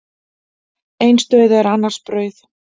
Eins dauði er annars brauð.